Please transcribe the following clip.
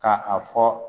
Ka a fɔ